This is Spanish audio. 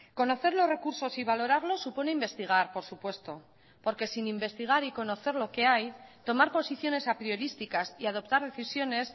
conocer los recursos y valorarlos supone investigar por supuesto porque sin investigar y conocer lo que hay tomar posiciones apriorísticas y adoptar decisiones